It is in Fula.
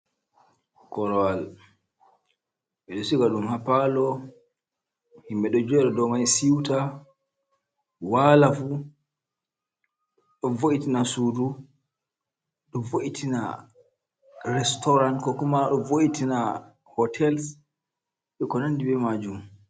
Korowal ɓeɗo siga ɗum ha palo, yimɓe ɗo dow mai siuta, ɗofu ɗo vo’itina sudu, ɗo vo’itina restoran, ko kuma ɗo vo’itina hotels be ko nandi be majum.